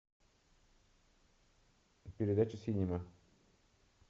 передача синема